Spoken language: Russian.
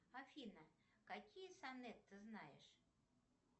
афина какие сонет ты знаешь